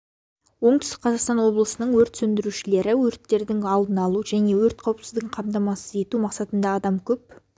оңтүстік қазақстан облысының өрт сөндірушілері өрттерді алдын алу және өрт қауіпсіздігін қамтамасыз ету мақсатында адам көп